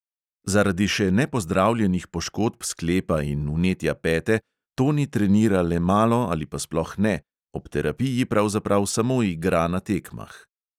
Zaradi še nepozdravljenih poškodb sklepa in vnetja pete toni trenira le malo ali pa sploh ne, ob terapiji pravzaprav samo igra na tekmah.